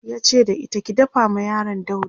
yace da ita "ki dafa ma yaron dauri!"